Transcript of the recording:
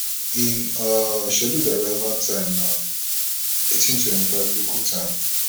im um scheduled arrival time na eighteen twenty five local time